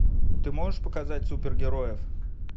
ты можешь показать супергероев